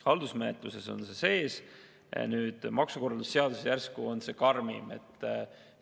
Haldusmenetluses on see sees, nüüd maksukorralduse seaduses järsku tundub see karmim olevat.